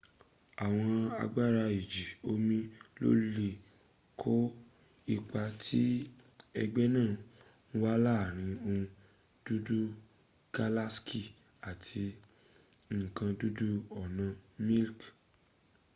awon agbara iji omi lo le ko ipa ti egbe naa n wa laarin ohun dudu galaksi ati nkan dudu ona milik